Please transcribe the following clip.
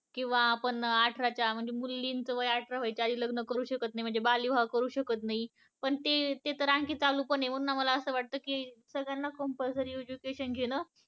किंवा आपण आठराच्या म्हणजे मुलींच वय अठरा व्हायच्या आधी लग्न करू शकत नाही म्हणजे बालविवाह करू शकत नाही पण ते तेतर आणखीन चालू पण आहे म्हणून मला अस वाटत की सगळ्यांना compulsory education घेण